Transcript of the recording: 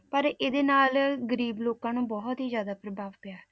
ਪਰ ਇਹਦੇ ਨਾਲ ਗ਼ਰੀਬ ਲੋਕਾਂ ਨੂੰ ਬਹੁਤ ਹੀ ਜ਼ਿਆਦਾ ਪ੍ਰਭਾਵ ਪਿਆ।